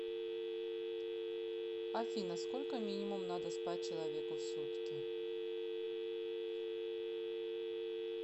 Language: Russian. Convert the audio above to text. афина сколько минимум надо спать человеку в сутки